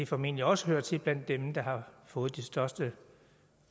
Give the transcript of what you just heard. formentlig også hører til dem der har fået de største